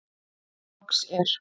Loks er.